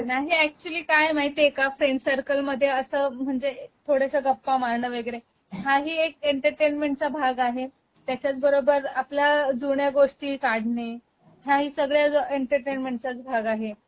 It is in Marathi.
नाही अॅक्चुअली काय आहे माहितीये का फ्रेंड सर्कल मध्ये अस म्हणजे थोडस गप्पा मारण वैगरे हा ही एक एंटरटेनमेंटचा भाग आहे. त्याच्याच बरोबर आपल्या जुन्या गोष्टी काढणे हा ही सगळाच एंटरटेनमेंटचाच भाग आहे.